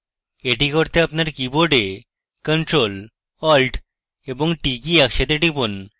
এটি করতে আপনার কীবোর্ডে ctrl + alt + t কী একসাথে টিপুন